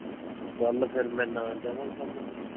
ਕੱਲ ਫੇਰ ਮੈਂ ਨਾ ਜਾਵਾਂ ਕੰਮ ਤੇ